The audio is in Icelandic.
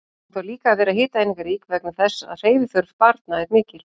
Hún þarf líka að vera hitaeiningarík vegna þess að hreyfiþörf barna er mikil.